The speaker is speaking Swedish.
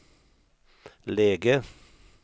läge